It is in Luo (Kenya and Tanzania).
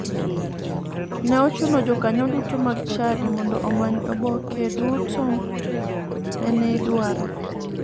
Ne ochuno jokanyo duto mag chadi mondo omany oboke duto mene idwaro.